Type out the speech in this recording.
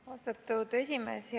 Austatud esimees!